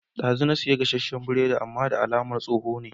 Dazu na siyo gasashen biredi amman da alamar tsoho ne